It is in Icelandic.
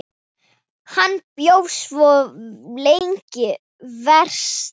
Hann bjó svo lengi vestra.